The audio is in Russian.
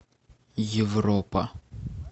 европа